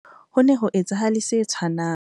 Ho ne ho etsahale se tshwanang